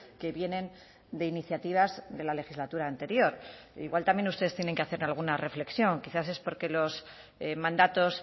que vienen de iniciativas de la legislatura anterior igual también ustedes tienen que hacer alguna reflexión quizás es porque los mandatos